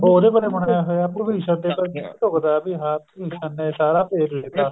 ਉਹਦੇ ਪਰ ਹੀ ਬਣਾਇਆ ਹੋਇਆ ਭਵਿਸ਼ਣ ਤੇ ਢੁੱਕਦਾ ਵੀ ਹਾਂ ਭਵਿਸ਼ਣ ਨੇ ਸਾਰਾ ਭੇਤ ਦਿੱਤਾ